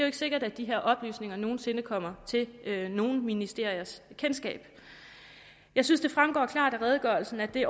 ikke sikkert at de her oplysninger nogen sinde kommer til nogen ministeriers kendskab jeg synes det fremgår klart af redegørelsen at det